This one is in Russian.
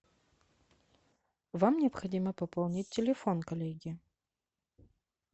вам необходимо пополнить телефон коллеги